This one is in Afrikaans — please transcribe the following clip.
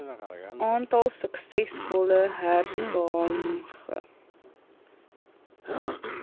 aantal suksesvolle hersaamge